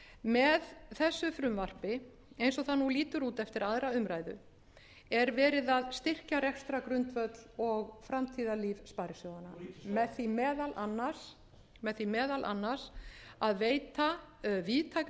með þessu frumvarpi eins og það nú lítur út eftir aðra umræðu er verið að styrkja rekstrargrundvöll og framtíðarlíf sparisjóðanna með því meðal annars að veita víðtækar